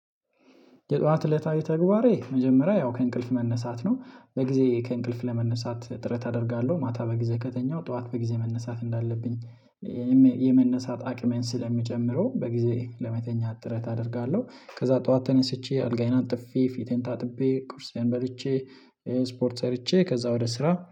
የጠዋት እለታዊ ተግባሬ መጀመሪያ ያው ከእንቅልፍ መነሳት ነው በጊዜ ከእንቅልፍ ለመነሳት ጥረት አደርጋለሁ ማታ በጊዜ ከተኛሁ ጠዋት በጊዜ መነሳት እንዳለብኝ። የመነሳት አቅሜን ስለሚጨምረው በጊዜ ለመተኛት ጥረት አደርጋለሁ። ከዛ ጠዋት ተነስቼ አልጋዬን አንጥፌ ፊቴን ታጥቤ ቁርሴን በልቼ ስፖርት ሰርቼ ከዛ ወደ ስራ